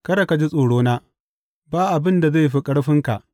Kada ka ji tsorona, ba abin da zai fi ƙarfinka.